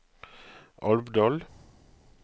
Alvdal